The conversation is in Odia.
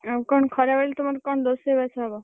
ଆଉ କଣ ଖରାବେଳେ ତମର କଣ ରୋଷେଇବାସ ହବ?